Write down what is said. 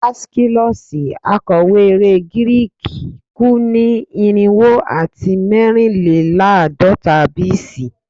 Aeschylus, akọwe ere Giriki, ku ni irinwo ati mẹrinlelaadọta BC